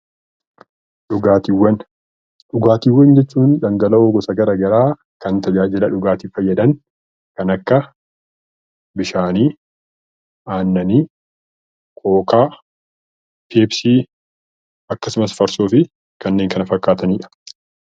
Dhugaatiiwwan Dhugaatiiwwan jechuun dhangala'oo gosa gara garaa kan tajaajila dhugaatiif fayyadan kan akka Bishaani, Aannani, Kookaa, Peepsii akkasumas Farsoo fi kanneen kana fakkaatani dha.